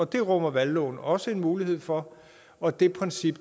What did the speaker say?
det rummer valgloven også mulighed for og det princip